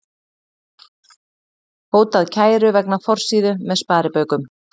Hótað kæru vegna forsíðu með sparibaukum